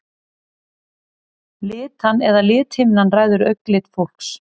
Litan eða lithimnan ræður augnlit fólks.